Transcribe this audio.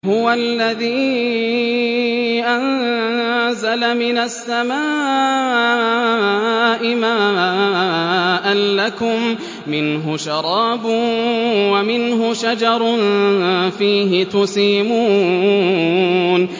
هُوَ الَّذِي أَنزَلَ مِنَ السَّمَاءِ مَاءً ۖ لَّكُم مِّنْهُ شَرَابٌ وَمِنْهُ شَجَرٌ فِيهِ تُسِيمُونَ